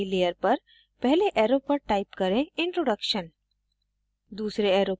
नयी layer पर पहले arrow पर type करें introduction